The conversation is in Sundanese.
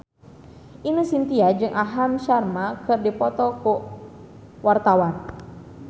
Ine Shintya jeung Aham Sharma keur dipoto ku wartawan